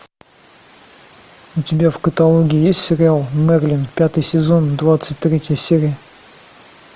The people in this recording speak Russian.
у тебя в каталоге есть сериал мерлин пятый сезон двадцать третья серия